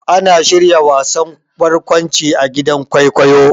Ana shirya wasan barƙwanci a gidan kwaikwayo.